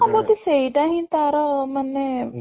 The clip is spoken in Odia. ହଁ ବୋଧେ ସେଇଟା ହିଁ ତାର ମାନେ